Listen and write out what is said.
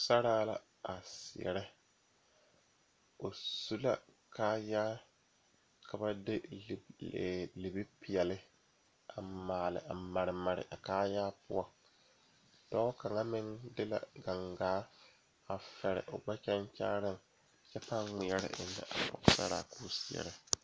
Pɔgeba are ka bamine zeŋ ka gangaare biŋ kaŋa zaa toɔ puli kyɛ ka ba zage ba nuure kaa do saa kyɛ ka ba gbɛɛ meŋ gaa.